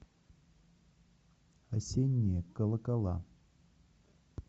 осенние колокола